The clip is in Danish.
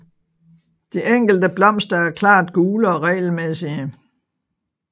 De enkelte blomster er klart gule og regelmæssige